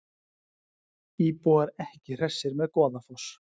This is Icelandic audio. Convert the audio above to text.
Íbúar ekki hressir með Goðafoss